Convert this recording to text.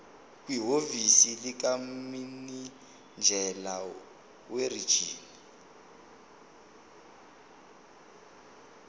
kwihhovisi likamininjela werijini